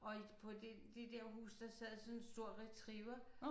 Og i på de de der huse der sad sådan en stor retriever